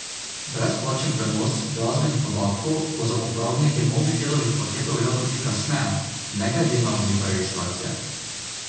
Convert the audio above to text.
Brezplačen prenos glasbenih podatkov bo za uporabnike Mobitelovih paketov veljal tudi kasneje, ne glede na obliko registracije.